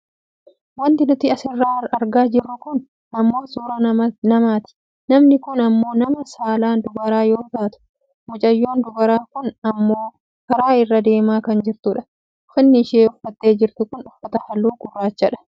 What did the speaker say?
wanti nuti asirratti argaa jirru kun ammoo suuraa namaati. namni kun ammoo nama saalan dubara yoo taatu mucayyoon dubaraa kun ammoo karaa irra deemaa kan jirtudha. ufanni isheen uffattee jirtu kun uffata halluu gurraachaadha.